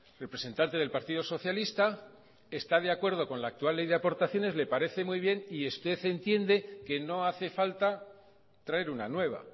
representante del partido socialista está de acuerdo con la actual ley de aportaciones le parece muy bien y usted entiende que no hace falta traer una nueva